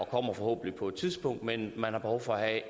kommer forhåbentlig på et tidspunkt men man har behov for at